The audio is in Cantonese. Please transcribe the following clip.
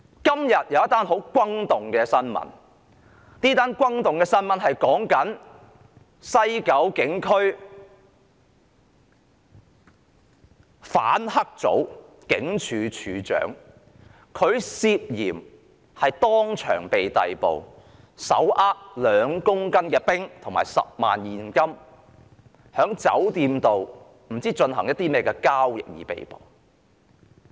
今天有一宗很轟動的新聞，是有關西九龍總區反黑組警署警長手持2公斤冰毒和10萬元現金，在酒店不知進行甚麼交易而被捕。